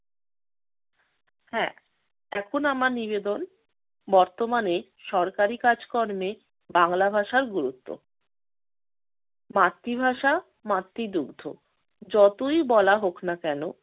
হ্যাঁ এখন আমার নিবেদন, বর্তমানে সরকারি কাজকর্মে বাংলা ভাষার গুরুত্ব। মাতৃভাষা মাতৃদুগ্ধ যতই বলা হোক না কেন